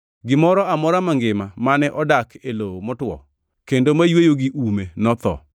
Gimoro amora mangima mane odak e lowo motwo kendo mayweyo gi ume notho.